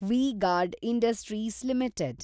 V-Guard Industries limited